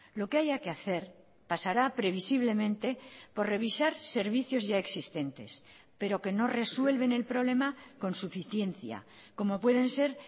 lo que haya que hacer pasará previsiblemente por revisar servicios ya existentes pero que no resuelven el problema con suficiencia como pueden ser